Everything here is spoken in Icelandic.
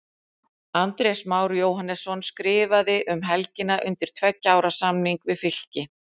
Andrés Már Jóhannesson skrifaði um helgina undir tveggja ára samning við Fylki.